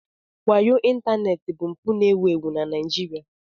Wayo ịntanetị bụ mpụ ewu ewu na Nigeria.